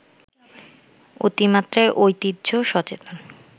অতিমাত্রায় ঐতিহ্য-সচেতন